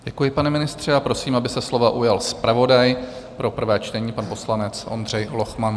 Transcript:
Děkuji, pane ministře, a prosím, aby se slova ujal zpravodaj pro prvé čtení, pan poslanec Ondřej Lochman.